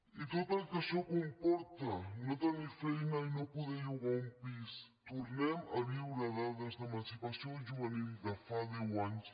i tot el que això comporta no tenir feina i no poder llogar un pis tornem a viure dades d’emancipació juvenil de fa deu anys